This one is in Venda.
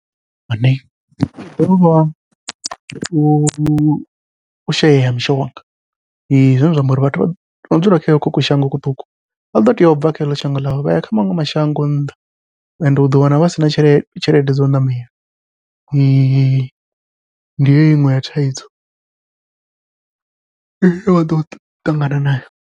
U shaya ha mishonga, zwine zwa amba uri vhathu vha no dzula kha hoko ku shango kuṱuku vha ḓo teya ubva kha heḽo shango vhaya kha maṅwe mashango mashango a nnḓa, ende uḓo wana vha sina tshelede tshelede dzau ṋamela ndi heyo iṅwe ya thaidzo ine vha ḓo ṱangana nayo.